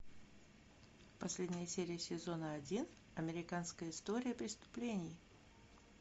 последняя серия сезона один американская история преступлений